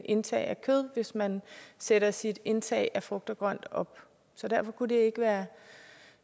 indtag af kød hvis man sætter sit indtag af frugt og grønt op så kunne det ikke være